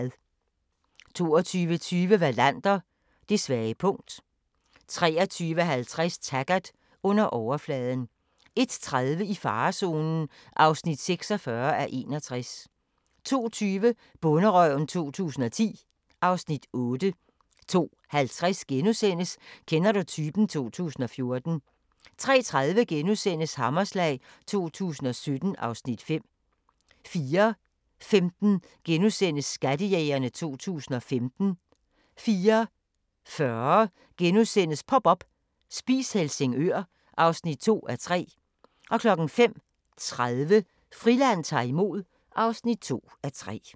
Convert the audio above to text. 22:20: Wallander: Det svage punkt 23:50: Taggart: Under overfladen 01:30: I farezonen (46:61) 02:20: Bonderøven 2010 (Afs. 8) 02:50: Kender du typen? 2014 * 03:30: Hammerslag 2017 (Afs. 5)* 04:15: Skattejægerne 2015 * 04:40: Pop up – Spis Helsingør (2:3)* 05:30: Friland ta'r imod (2:3)